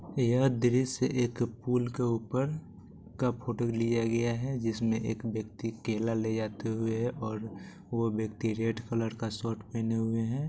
यह दृश्य एक पूल के ऊपर का फोटो लिया गया है जिसमे एक व्यक्ति केला ले जाते हुए और वो व्यक्ति रेड कलर का शर्ट पहने हुए है।